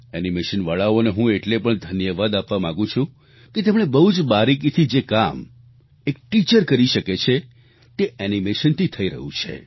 animation વાળાઓને હું એટલે પણ ઘન્યવાદ આપવા માંગુ છું કે તેમણે બહુજ બારીકીથી જે કામ એક ટીચર કરી શકે છે તે એનીમેશનથી થઈ રહ્યું છે